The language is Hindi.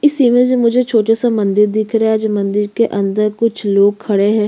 इस इमेज मुझे छोटा से मंदिर दिख रहे है जो मंदिर के अंदर कुछ लोग खडे है।